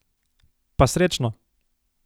Pa srečno!